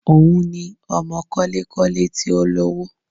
Òun ni ọmọ kọ́lé-kọ́lé tí ó lówó